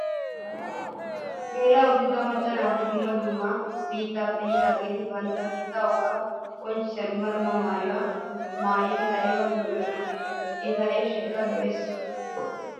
Geela'o giiga macca naati duummaa dumma biittaappe yiidaageeti bantta biittaa woga qonccissiyaa dumma dumma maayyuwaa maayyida ayiba lo''iyoonaa. Eta eeshshayikka lo''es.